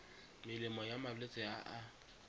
melemo ya malwetse a a